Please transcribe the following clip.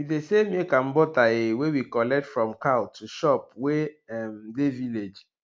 we dey sell milk and butter um wey we collect from cow to shop wey um dey village